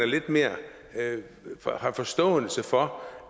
lidt mere forståelse for